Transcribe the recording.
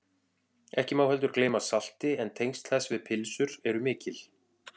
ekki má heldur gleyma salti en tengsl þess við pylsur eru mikil